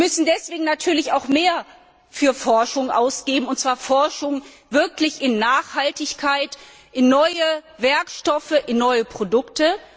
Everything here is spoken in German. Wir müssen deswegen natürlich auch mehr für Forschung ausgeben, und zwar Forschung in Nachhaltigkeit, in neue Werkstoffe, in neue Produkte.